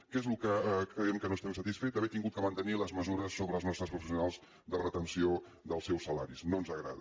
què és del que creiem que no n’estem satisfets haver hagut de mantenir les mesures sobre els nostres professionals de retenció del seus salaris no ens agrada